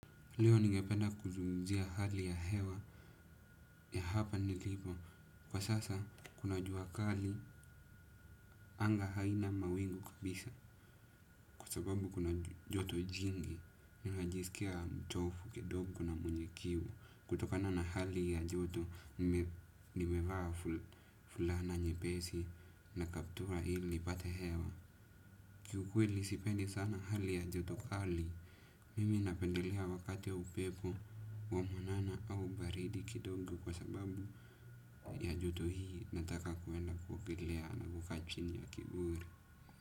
Leo ningependa kuzungumzia hali ya hewa ya hapa nilipo. Kwa sasa kuna jua kali anga haina mawingu kabisa. Kwa sababu kuna joto jingi. Ninajisikia mchovu kidogo na mwenye kiu. Kutokana na hali ya joto nimevaa fulana nyepesi na kaptura ili nipate hewa. Kiukweli sipendi sana hali ya joto kali. Mimi napendelea wakati ya upepo wa mwanana au baridi kidogo kwa sababu ya joto hii nataka kuenda kuogelea na kukaa chini ya kivuli.